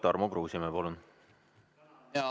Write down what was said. Tarmo Kruusimäe, palun!